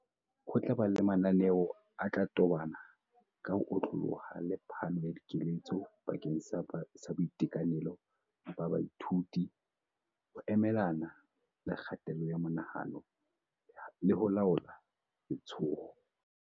Ho tla ba le mananeo a tla tobana ka ho otlolloha le phano ya dikeletso bakeng sa boitekanelo ba baithuto, ho emelana le kgatello ya monahano le ho laola letshoho.